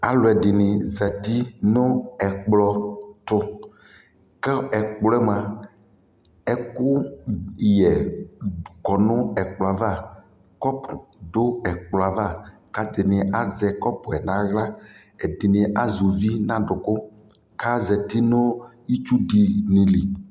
alʋɛdini zati nʋ ɛkplɔ tʋ kʋ ɛkplɔɛ mʋa ɛkʋ yɛ kɔnʋ ɛkplɔɛ aɣa, cup dʋ ɛkplɔɛ aɣa kʋ atani azɛ cupɛ nʋ ala, ɛdini azɛ ʋvi nʋ adʋkʋ kʋ azati nʋ itsʋ dini li